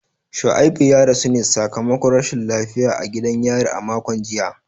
Shuaibu ya rasu ne sakamakon rashin lafiya a gidan yari a makon jiya.